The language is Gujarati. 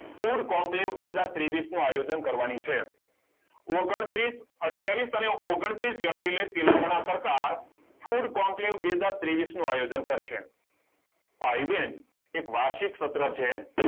food conclave બે હજાર ત્રેવિસ નું આયોજન કરવાની છે ઓગન્ત્રિસઅથ્યવિસ અને ઓગંત્રિસ એપ્રિલે તેલંગાના સરકાર food conclave બે હજાર ત્રેવિસ નું આયોજન કરશે એક વાર્ષિક સત્ર છે